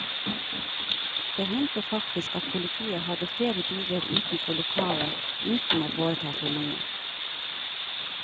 Det hendte faktisk at politiet hadde flere biler utenfor lokalet uten å foreta seg noe.